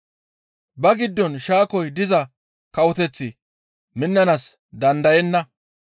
Ba giddon shaakoy diza kawoteththi minnanaas dandayenna.